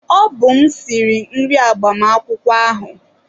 Ọ bụ m sịrị nri agbamakwụkwọ ahụ